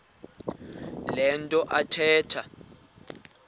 le nto athetha